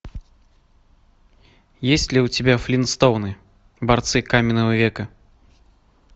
есть ли у тебя флинстоуны борцы каменного века